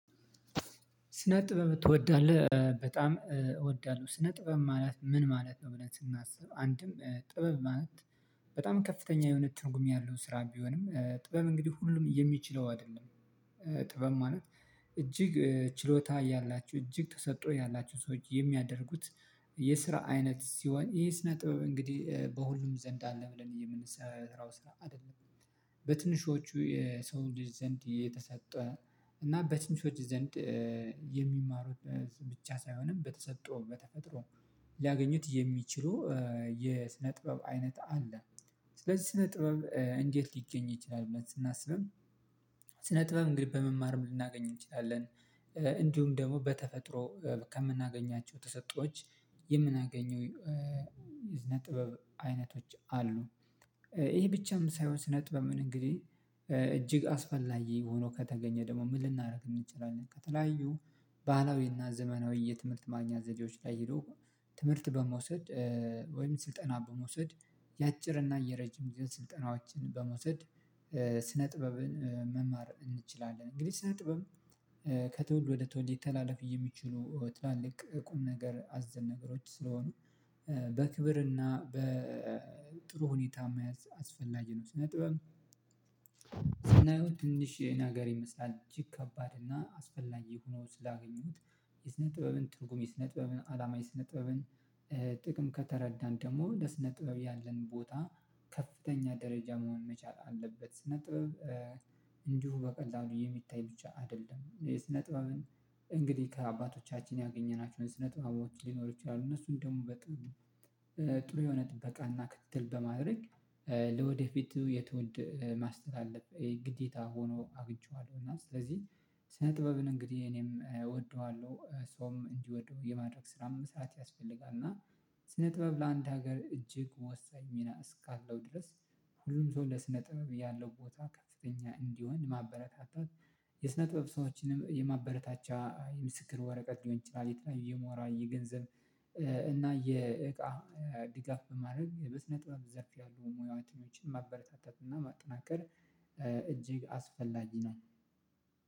ስነ ጥበብ ትወዳለህ በጣም እወዳለሁ ስነ ጥበብ ማለት ምን ማለት ነው? ብለን ስናስብ አንድም ጥበብ ማለት በጣም ከፍተኛ የእውነት ትርጉም ያለው ስራ ቢሆንም ጥበብ እንግዲህ ሁሉም የሚችለው አይደለም ጥበብ ማለት እጅግ ችሎታ ያላችሁ እጅግ ተሰጥቶ ያላችሁ ሰዎች የሚያደርጉት የስራ አይነት ሲሆን ይሄስ ነጥብ እንግዲህ በሁሉም ዘንድ አለ ብለን የምንሰራው ስራ አይደለም። በትንሾቹ የሰው ልጅ ዘንድ የተሰጠ እና በትንሾች ዘንድ የሚማሩት ብቻ ሳይሆንም በተሰጠው በተፈጥሮ ሊያገኙት የሚችሉ የስነ ጥበብ አይነት አለ። ስለዚህ ስነ ጥበብ እንዴት ሊገኝ ይችላል ብለን ስናስብም? ስነ ጥበብ እንግዲህ በመማርም ልናገኝ እንችላለን። እንዲሁም ደግሞ በተፈጥሮ ከምናገኛቸው ተሰጥቶች የምናገኘው የስነ ጥበብ አይነቶች አሉ። ይሄ ብቻም ሳይሆን ስነጥበብ ምን እንግዲህ እጅግ አስፈላጊ ሆኖ ከተገኘ ደግሞ ምን ልናደርግ እንችላለን? ከተለያዩ ባህላዊና ዘመናዊ የትምህርት ማግኛ ዘዴዎች ላይ ሄዶ ትምህርት በመውሰድ ወይም ስልጠና በመውሰድ የአጭርና የረጅም ጊዜ ስልጠናዎችን በመውሰድ ስነ ጥበብን መማር እንችላለን። እንግዲህ ስነ ጥበብ ከትውልድ ወደ ትውልድ ሊተላለፍ የሚችሉ ትላልቅ ቁም ነገር አዘል ነገሮች ስለሆኑ በክብርና በጥሩ ሁኔታ መያዝ አስፈላጊ ነው። ስነ ጥበብ ስናየው ትንሽ ነገር ይመስላል። እጅግ ከባድ እና አስፈላጊ ሆኖ ስላገኘሁት የስነ ጥበብን ትርጉም የስነ ጥበብን አላማ የስነ ጥበብን ጥቅም ከተረዳን ደግሞ ለስነ ጥበብ ያለን ቦታ ከፍተኛ ደረጃ መሆን መቻል አለበት። ስነ ጥበብ እንዲሁ በቀላሉ የሚታይ ብቻ አይደለም። የስነ ጥበብን እንግዲህ ከአባቶቻችን ያገኘናቸውን ስነ ጥበቦች ሊኖሩ ይችላሉ እነሱን ደግሞ በጥም ጥሩ የሆነ ጥበቃና ክትትል በማድረግ ለወደፊቱ የትውልድ ማስተላለፍ ግዴታ ሆኖ አግኝቼዋለሁ። እና ስለዚህ ስነ ጥበብን እንግዲህ እኔም እወደዋለሁ ሰውም እንዲወደው የማድረግ ስራም ሰዓት ያስፈልጋል። እና ስነ ጥበብ ላንድ ሀገር እጅግ ወሳኝ ሚና እስካለው ድረስ ሁሉም ሰው ለስነ ጥበብ ያለው ቦታ ከፍተኛ እንዲሆን ማበረታታት። የስነ ጥበብ ሰዎችንም የማበረታቻ የምስክር ወረቀት ሊሆን ይችላል። የተለያዩ የሞራል የገንዘብ እና የእቃ ድጋፍ በማድረግ በስነ ጥበብ ዘርፍ ያሉ ሙያዎችን ማበረታታት እና ማጠናከር እጅግ አስፈላጊ ነው